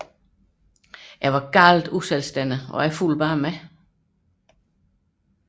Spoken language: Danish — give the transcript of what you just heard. Jeg var meget uselvstændig og fulgte bare med